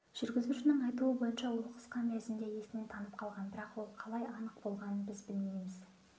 жүргізушінің айтуы бойынша ол қысқа мерзімде есінен танып қалған бірақ ол қалай анық болғанын біз білмейміз